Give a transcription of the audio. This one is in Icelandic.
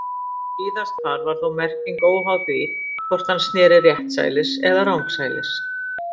Víðast hvar var þó merking óháð því hvort hann sneri réttsælis eða rangsælis.